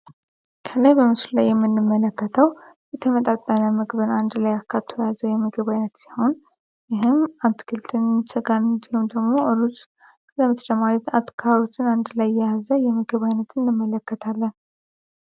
ከላይ በምሱል ላይ የምንመለከተው የተመጣጣነ ምግብን አንድ ላይ አካቱ የያዘ የምግባ አይነት ሲሆን ይህም አትክልትን ጋርሆም ደግሞ እሩስ ለምትደማቤት አትካሩትን አንድ ላይ የያዘ የምግባአይነት እንመለከታለም።